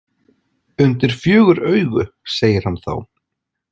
Undir fjögur augu, segir hann þá.